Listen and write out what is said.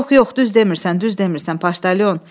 Yox, yox, düz demirsən, düz demirsən Paşdalyon.